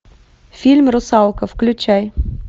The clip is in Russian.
фильм русалка включай